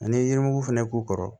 Ani yirimugu fɛnɛ k'u kɔrɔ